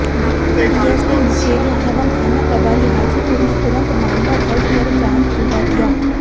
DSP Mukerian एवं थाना प्रभारी हाजीपुर ने तुरंत मामला दर्ज कर जाम खुलवा दिया